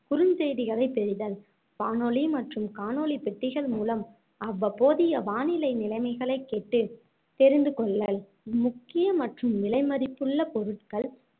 குறுஞ்செய்திகளைப் பெறுதல் வானொலி மற்றும் காணொளி பெட்டிகள் மூலம் அவ்வப்போதைய வானிலை நிலைமைகளைக் கேட்டுத் தெரிந்து கொள்ளல் முக்கிய மற்றும் விலைமதிப்புள்ள பொருட்கள்